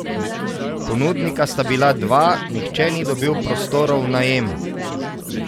Ponudnika sta bila dva, nihče ni dobil prostorov v najem.